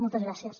moltes gràcies